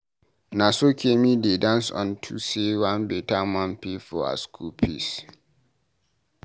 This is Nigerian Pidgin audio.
Na so Kemi dey dance unto say one beta man pay her school fees.